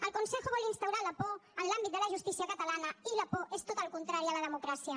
el consejo vol instaurar la por en l’àmbit de la justícia catalana i la por és tot el contrari a la democràcia